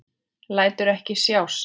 Lætur ekki sjá sig.